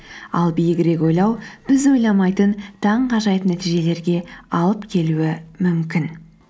ал биігірек ойлау біз ойламайтын таңғажайып нәтижелерге алып келуі мүмкін